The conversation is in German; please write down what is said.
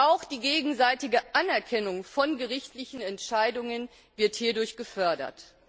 Auch die gegenseitige Anerkennung von gerichtlichen Entscheidungen wird hierdurch gefördert.